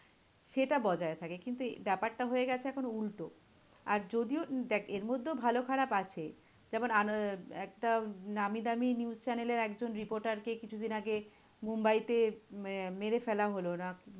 সেটা বজায় থাকে। কিন্তু এই ব্যাপারটা হয়ে গেছে এখন উল্টো। আর যদিও, দেখ এর মধ্যেও ভালো খারাপ আছে। যেমন একটা নামি দামি news channel এর একটা reporter কে কিছু দিন আগে মুম্বাইতে উম মেরে ফেলা হলো। না